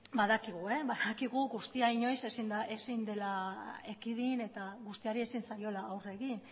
badakigu guztia inoiz ezin dela ekidin eta guztiari ezin zaiola aurre egin